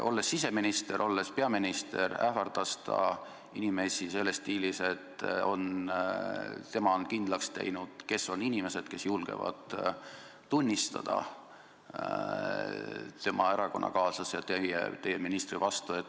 Olles siseminister, olles peaministri kohusetäitja, ähvardas ta inimesi stiilis, et tema on kindlaks teinud, kes on need inimesed, kes julgevad tunnistada tema erakonnakaaslase, teie ministri vastu.